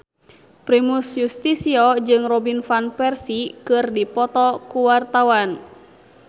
Primus Yustisio jeung Robin Van Persie keur dipoto ku wartawan